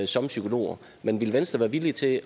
som psykolog men ville venstre være villig til